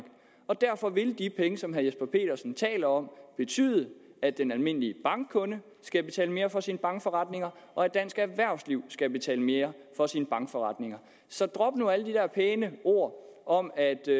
derfor vil de penge som herre jesper petersen taler om betyde at den almindelige bankkunde skal betale mere for sine bankforretninger og at dansk erhvervsliv skal betale mere for sine bankforretninger så drop nu alle de der pæne ord om at det